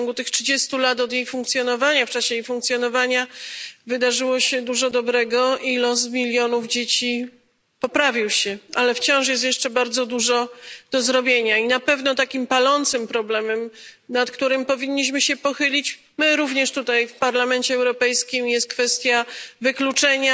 W ciągu tych trzydziestu lat jej funkcjonowania wydarzyło się dużo dobrego i los milionów dzieci poprawił się, ale wciąż jest jeszcze bardzo dużo do zrobienia i na pewno takim palącym problemem, nad którym powinniśmy się pochylić my również tutaj w Parlamencie Europejskim, jest kwestia wykluczenia